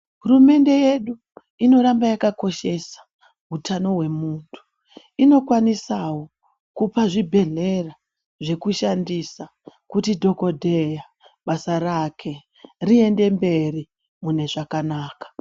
Hurumende yedu inoramba yakakoshesa utano hwemunhu. Inokwanisawo kupa zvibhedhlera zvekushandisa ,kuti dhokodheya basa rake riende mberi mune zvakanaka.